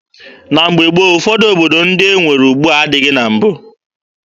Na mgbe gboo, ụfọdụ obodo ndị e nwere ugbua adịghị na mbụ.